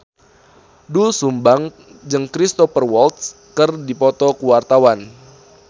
Doel Sumbang jeung Cristhoper Waltz keur dipoto ku wartawan